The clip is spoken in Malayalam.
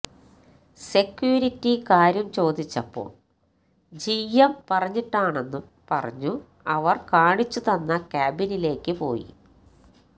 സെക്യൂരിറ്റി കാര്യം ചോദിച്ചപ്പോള് ജി എം പറഞ്ഞിട്ടാണെന്നും പറഞ്ഞു അവര് കാണിച്ചു തന്ന ക്യാബിനിലേക്കു പോയി